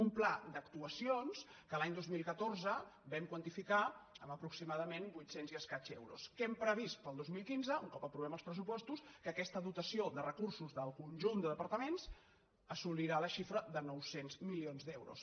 un pla d’actuacions que l’any dos mil catorze vam quantificar en aproximadament vuitcents euros i escaig que hem previst per al dos mil quinze un cop aprovem els pressupostos que aquesta dotació de recursos del conjunt de departaments assolirà la xifra de nou cents milions d’euros